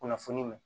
Kunnafoni ma